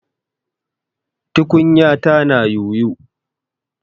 Tukunyata na yoyo.